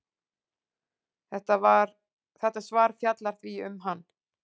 Þetta svar fjallar því um hann.